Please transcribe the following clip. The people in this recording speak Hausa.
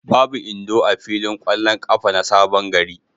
Babu Indo a filin ƙwallon ƙafa na Sabon gari.